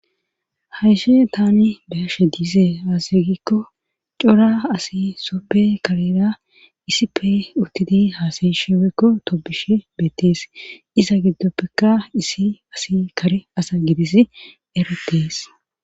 hayishe tani beyashe diise aze gikko cora asi soppe karera isippe uttidi haasayishewekko tobishe beettees iza giddoppekka issi asi kare asa gidis eretees